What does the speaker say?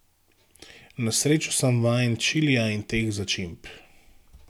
Na srečo sem vajen čilija in teh začimb.